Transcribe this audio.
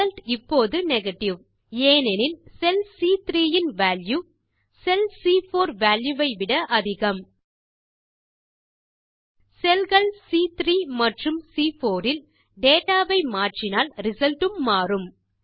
result இப்போதுNegative ஏனெனில் செல் சி3 இன் value செல் சி4 value வை விட அதிகம் cellகள் சி3 மற்றும் சி4 இல் டேட்டா வை மாற்றினால் ரிசல்ட் உம் மாறும்